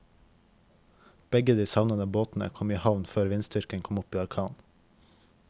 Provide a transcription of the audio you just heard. Begge de savnede båtene kom i havn før vindstyrken kom opp i orkan.